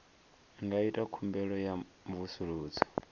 nga ita khumbelo ya mvusuludzo